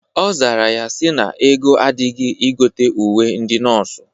Ọ zara ya sị na ego adịghị igote uwe ndị nọọsụ.